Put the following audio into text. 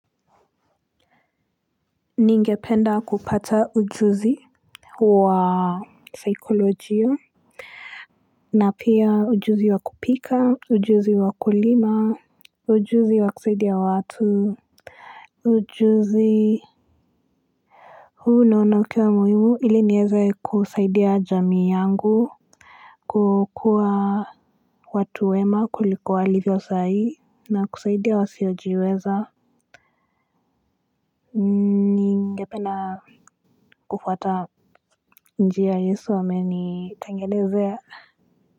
Ningependa kupata ujuzi wa saikolojia na pia ujuzi wa kupika ujuzi wa kulima ujuzi wa kusaidia watu ujuzi huu naona ukiwa muhimu ili nieze kusaidia jamii yangu kukua watu wema kuliko walivyo saa hii na kusaidia wasiojiweza ningependa kufuata njia yesu amenitengelezea.